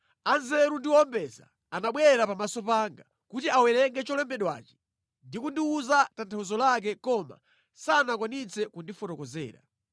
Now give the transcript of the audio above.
Anzeru ndi owombeza anabwera pamaso panga kuti awerenge zolembedwazi ndi kundiwuza tanthauzo lake koma sanakwanitse kundifotokozera.